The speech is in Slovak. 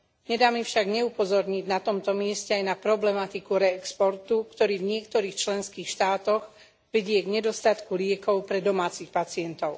Nedá mi však neupozorniť na tomto mieste aj na problematiku re exportu, ktorý v niektorých členských štátoch vedie k nedostatku liekov pre domácich pacientov.